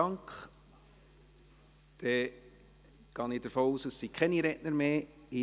Dann gehe ich davon aus, dass es keine Redner mehr gibt.